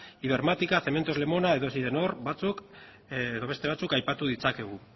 ibermática cementos lemona edo sidenor edo beste batzuk aipatu ditzakegu